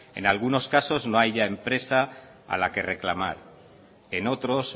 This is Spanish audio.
en algunos casos no haya empresa a la que reclamar en otros